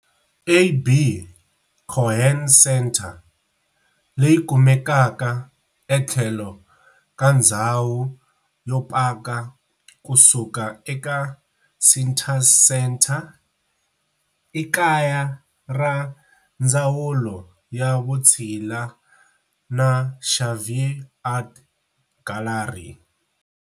AB Cohen Center, leyi kumekaka etlhelo ka ndzhawu yo paka kusuka eka Cintas Center, i kaya ra Ndzawulo ya Vutshila na Xavier Art Gallery.